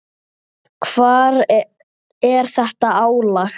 Hvar er þetta álag?